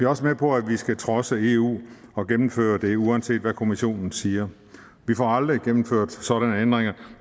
også med på at vi skal trodse eu og gennemføre det uanset hvad kommissionen siger vi får aldrig gennemført sådanne ændringer